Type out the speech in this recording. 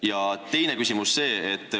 Ja teine küsimus.